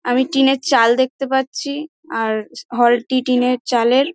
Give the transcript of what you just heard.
আমি টিনের চাল দেখতে পাচ্ছি আর হল টি টিনের চাল এর।